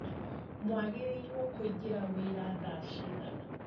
Mwagĩrĩrwo kũingĩra wĩra thaa cigana?